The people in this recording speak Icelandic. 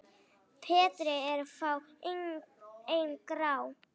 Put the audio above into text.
Betri eru fá en grá?